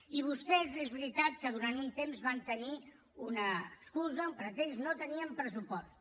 i vostès és veritat que durant un temps van tenir una excusa un pretext no tenien pressupost